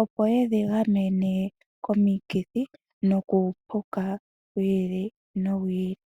opo yedhi gamene komikithi nokuupuka wi ili nowi ili.